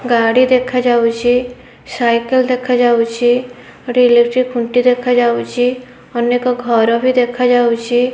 ଗାଡ଼ି ଦେଖାଯାଉଅଛି ସାଇକଲ ଦେଖାଯାଉଅଛି ଗୋଟେ ଇଲେଟ୍ରି ଖୁଣ୍ଟି ଦେଖାଯାଉଅଛି ଅନେକ ଘରବି ଦେଖାଯାଉଅଛି।